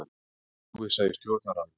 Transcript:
Mikil óvissa í Stjórnarráðinu